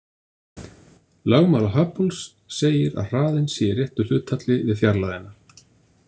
Lögmál Hubbles segir að hraðinn sé í réttu hlutfalli við fjarlægðina.